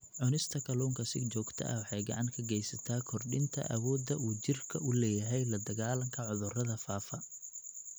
Cunista kalluunka si joogto ah waxay gacan ka geysataa kordhinta awoodda uu jidhku u leeyahay la-dagaallanka cudurrada faafa.